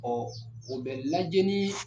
o bɛ lajɛ ni